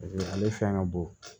ale fɛn ka bon